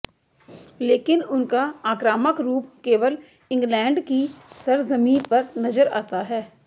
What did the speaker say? लेकिन उनका आक्रामक रूप केवल इंग्लैंड की सरजमीं पर नजर आता है